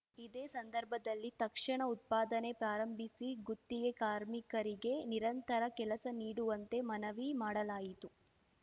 ಇದೆ ಸಂದರ್ಭದಲ್ಲಿ ತಕ್ಷಣ ಉತ್ಪಾದನೆ ಪ್ರಾರಂಭಿಸಿ ಗುತ್ತಿಗೆ ಕಾರ್ಮಿಕರಿಗೆ ನಿರಂತರ ಕೆಲಸ ನೀಡುವಂತೆ ಮನವಿ ಮಾಡಲಾಯಿತು